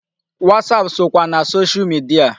WhatsApp sokwa na social media.